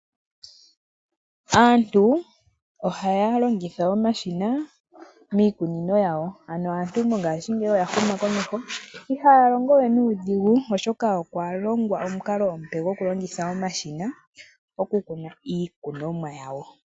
Aantu ohaya longitha omashina miikunino yawo. Ano aantu mongashingeyi oyahuma komeho ihaya longowe nuudhigu, oshoka okwalongwa omukalo omupe gwokulongitha omashina okukuna iikunomwa yawo.